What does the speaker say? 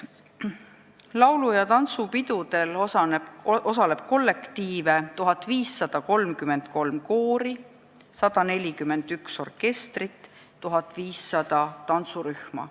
Laulu- ja tantsupidudel osaleb 1533 koori, 141 orkestrit, 1500 tantsurühma.